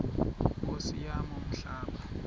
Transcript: nkosi yam umhlaba